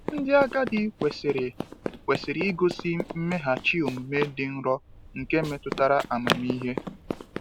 Ndị agadi kwesịrị kwesịrị igosi mmeghachi omume dị nro nke metụtara amamihe.